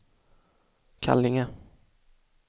Kallinge